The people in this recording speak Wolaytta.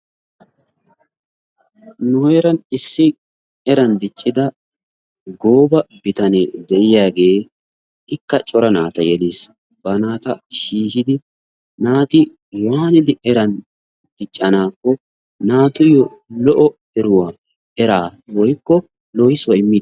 Nu heeran issi eran diccida gooba bitanee de'iyaagee ikka cora naata yeeliis. bana naata shiishshidi naati waanidi eran diccannakko naatuyyo lo''o era woykko lohissuwaa immiis